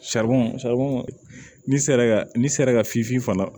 ni sera ka n'i sera ka finfin fana